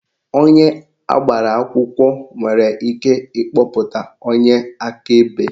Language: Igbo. Onye agbara akwụkwọ nwere ike ikpọta onye akaebe.